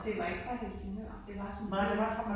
Også det var ikke fra Helsingør det var simpelthen